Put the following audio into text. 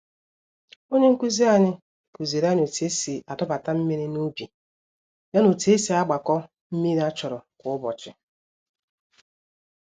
Onye nkụzi anyị, kuziri anyị otú esi adọbata mmiri n'ubi, ya na otú esi agbakọ mmírí a chọrọ kwá ụbọchị